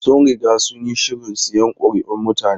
Sun riga sun yi shirin siyan kuri'un mutane.